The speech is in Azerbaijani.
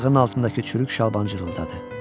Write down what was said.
Ayağının altındakı çürük şalban cırıldadı.